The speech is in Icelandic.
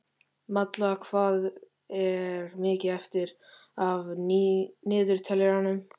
Malla, hvað er mikið eftir af niðurteljaranum?